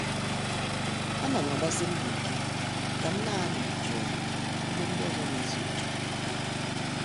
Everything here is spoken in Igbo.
A nam agbasi mbọ ike kam na- anọ jụụ ebe ndị ọzọ na-ezu ike.